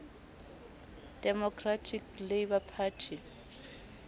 democratic labour party